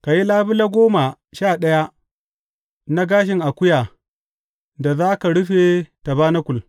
Ka yi labule goma sha ɗaya na gashin akuya da za ka rufe tabanakul.